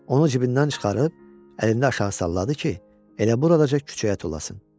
Onu cibindən çıxarıb əlində aşağı salladı ki, elə buradaca küçəyə tullasın.